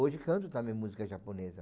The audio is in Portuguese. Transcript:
Hoje canto também música japonesa.